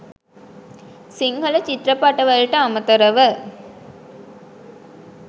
සිංහල චිත්‍රපටවලට අමතරව